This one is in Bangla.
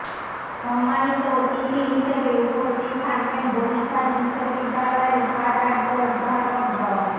সম্মানিত অতিথি হিসেবে উপস্থিত থাকবেন বরিশাল বিশ্ববিদ্যালয়ের উপাচার্য অধ্যাপক ড